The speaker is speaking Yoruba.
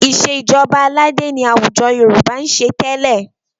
Ìṣèjọba ọba aládé ni àwùjọ Yorùbá ń ṣe tẹ́lẹ̀.